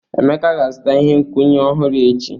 Emeka ga-azụta ihe nkwụnye ọhụrụ echi.